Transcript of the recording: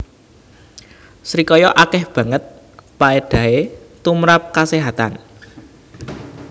Srikaya akéh banget paédahé tumprap kaséhatan